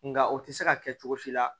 Nga o tɛ se ka kɛ cogo si la